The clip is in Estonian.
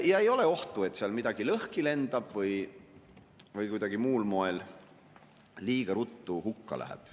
Ja ei ole ohtu, et seal midagi lõhki lendab või kuidagi muul moel liiga ruttu hukka läheb.